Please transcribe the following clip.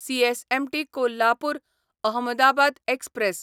CSMT Kolhapur Ahmedabad express